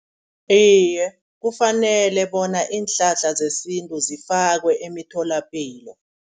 Iye kufanele bona iinhlahla zesintu zifakwe emtholapilo.